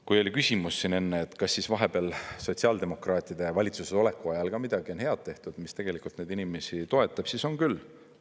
Kui oli küsimus siin enne, et kas siis vahepeal sotsiaaldemokraatide valitsuses oleku ajal ka midagi on head tehtud, mis tegelikult neid inimesi toetab, siis on küll.